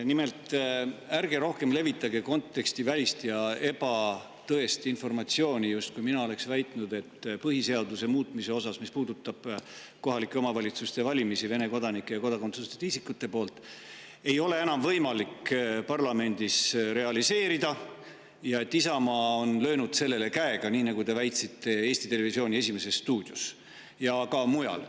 Nimelt, ärge rohkem levitage kontekstivälist ja ebatõest informatsiooni, justkui mina oleksin väitnud, et põhiseaduse muutmist selles osas, mis puudutab kohalike omavalitsuste valimist Vene kodanike ja kodakondsuseta isikute poolt, ei ole enam võimalik parlamendis realiseerida, ja et Isamaa on löönud sellele käega, nii nagu te olete väitnud Eesti Televisiooni "Esimeses stuudios" ja ka mujal.